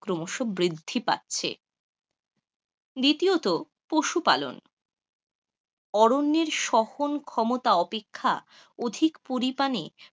ক্রমশ বৃদ্ধি পাচ্ছে, দ্বিতীয়ত, পশুপালন. অরণ্যের সহন ক্ষমতা অপেক্ষা অধিক পরিমাণে,